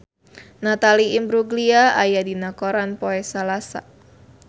Natalie Imbruglia aya dina koran poe Salasa